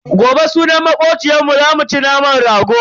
Gobe sunan makociyarmu zamu ci naman rago.